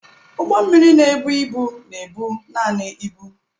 Ụgbọ mmiri na-ebu ibu na-ebu naanị ibu.